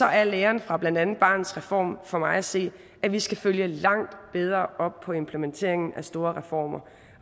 er læren fra blandt andet barnets reform for mig at se at vi skal følge langt bedre op på implementeringen af store reformer